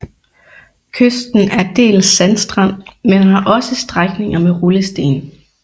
Kysten er dels sandstrand men har også strækninger med rullesten